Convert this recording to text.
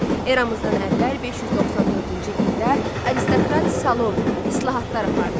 Eramızdan əvvəl 594-cü ildə aristokrat Salon islahatlar apardı.